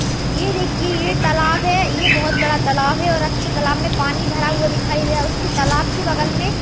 ये देखिए ये तालाब है ये बहुत बड़ा तालाब है आप छब तालाब में पानी भरा हुआ दिखाई दे रहा है उसके तालाब के बगल में --